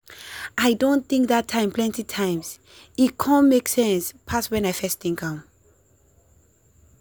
i don think that time plenty times he con make sense pass when i first think am.